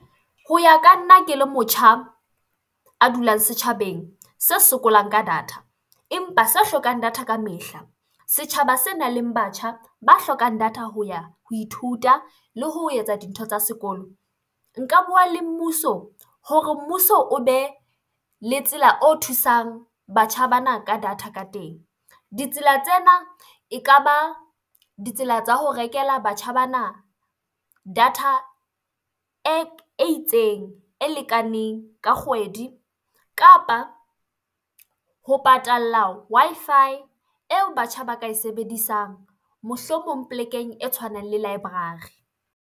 Ho ya ka nna ke le motjha a dulang setjhabeng se sokolang ka data empa se hlokang data ka mehla, setjhaba senang le batjha ba hlokang data ho ya, ho ithuta le ho etsa dintho tsa sekolo. Nka bua le mmuso hore mmuso o be le tsela o thusang batjha bana ka data ka teng. Ditsela tsena e ka ba ditsela tsa ho rekela batjha bana data e itseng, e lekaneng ka kgwedi. Kapa ho patalla Wi-Fi eo batjha ba ka e sebedisang, mohlomong polekeng e tshwanang le library.